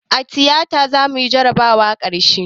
A tiyata zamuyi jarabawar karshe